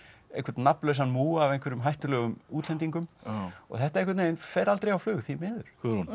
einhvern nafnlausan múg af einhverjum hættulegum útlendingum og þetta einhvern veginn fer aldrei á flug því miður Guðrún